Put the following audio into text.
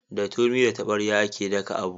Da turmi da taɓarya a ke daka abu